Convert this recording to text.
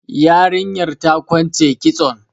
Yarinyar ta kwance kitson.